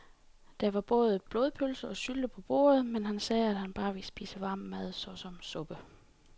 Der var både blodpølse og sylte på bordet, men han sagde, at han bare ville spise varm mad såsom suppe.